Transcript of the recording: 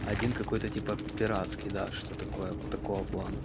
один какой-то типа пиратский да что такое такое вот такого плана